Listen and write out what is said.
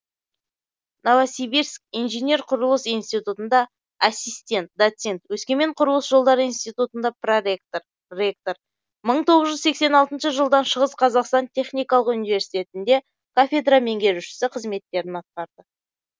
новосибирск инжинер құрылыс институтында ассистент доцент өскемен құрылыс жолдары институтында проректор ректор мың тоғыз жүз сексен алтыншы жылдан шығыс қазақстан техникалық университетінде кафедра меңгерушісі қызметтерін атқарды